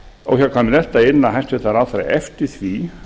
óhjákvæmilegt að inna hæstvirtan ráðherra eftir því